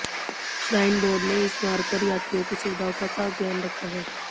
shrine board ने इस मार्ग पर यात्रियों की सुविधाओं का खास ध्यान रखा है